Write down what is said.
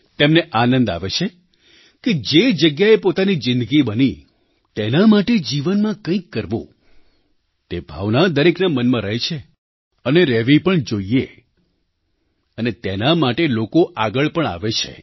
તેમને આનંદ આવે છે કે જે જગ્યાએ પોતાની જિંદગી બની તેના માટે જીવનમાં કંઈક કરવું તે ભાવના દરેકના મનમાં રહે છે અને રહેવી પણ જોઈએ અને તેના માટે લોકો આગળ પણ આવે છે